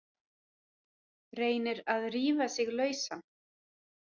Reynir að rífa sig lausan.